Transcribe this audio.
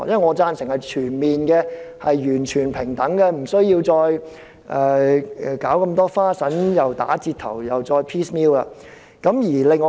我贊成全面爭取完全平等的權利，不需要打折的權利或"斬件式"地處理問題。